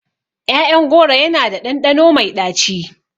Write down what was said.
ƴaƴan goro yana da ɗanɗano mai ɗaci.